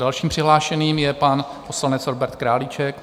Dalším přihlášeným je pan poslanec Robert Králíček.